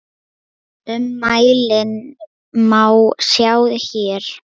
Ummælin má sjá hér.